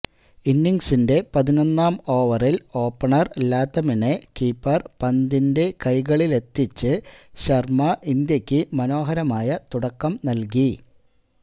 ഇന്നിങ്സിന്റെ പതിനൊന്നാം ഓവറില് ഓപ്പണര് ലാത്തമിനെ കീപ്പര് പന്തിന്റെ കൈകളിലെത്തിച്ച് ശര്മ ഇന്ത്യക്ക് മനോഹരമായ തുടക്കം നല്കി